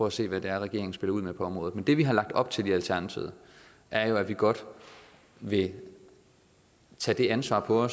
at se hvad det er regeringen spiller ud med på området men det vi har lagt op til i alternativet er jo at vi godt vil tage det ansvar på